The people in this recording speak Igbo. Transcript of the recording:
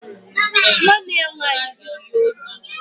Nwa nne ya nwanyi zuru ya ozi